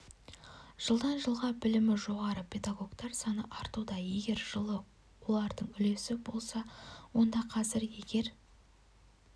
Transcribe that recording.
жылдан жылға білімі жоғары пелагогтар саны артуда егер жылы олардың үлесі болса онда қазір егер